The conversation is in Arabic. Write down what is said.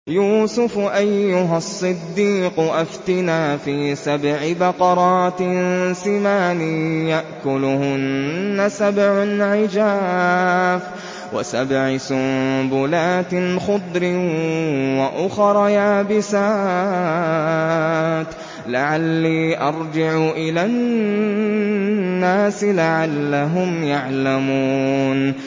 يُوسُفُ أَيُّهَا الصِّدِّيقُ أَفْتِنَا فِي سَبْعِ بَقَرَاتٍ سِمَانٍ يَأْكُلُهُنَّ سَبْعٌ عِجَافٌ وَسَبْعِ سُنبُلَاتٍ خُضْرٍ وَأُخَرَ يَابِسَاتٍ لَّعَلِّي أَرْجِعُ إِلَى النَّاسِ لَعَلَّهُمْ يَعْلَمُونَ